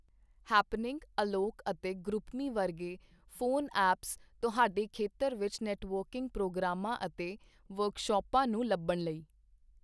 Happening, ਅਲੋਕ ਅਤੇ group me ਵਰਗੇ ਫੋਨ ਐਪਸ ਤੁਹਾਡੇ ਖੇਤਰ ਵਿੱਚ ਨੈੱਟਵਰਕਿੰਗ ਪ੍ਰੋਗਰਾਮਾਂ ਅਤੇ ਵਰਕਸ਼ਾਪਾਂ ਨੂੰ ਲੱਭਣ ਲਈ।